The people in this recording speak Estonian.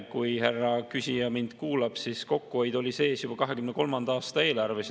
Kui härra küsija mind kuulab, siis kokkuhoid oli sees juba 2023. aasta eelarves.